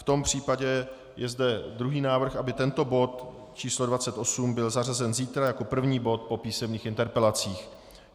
V tom případě je zde druhý návrh, aby tento bod číslo 28 byl zařazen zítra jako první bod po písemných interpelacích.